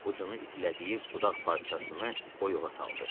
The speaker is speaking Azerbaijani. Ucunu itilədiyi budaq parçasını oyuğa saldı.